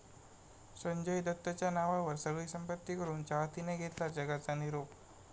संजय दत्तच्या नावावर सगळी संपत्ती करून चाहतीनं घेतला जगाचा निरोप